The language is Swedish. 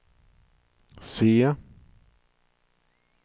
C